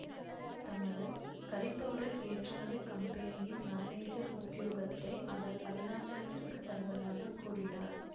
தமது curry powder ஏற்றுமதிக் கம்பெனியின் மானேஜர் உத்தியோகத்தை அவர் அருணாசலத்துக்குத் தருவதாக கூறினார்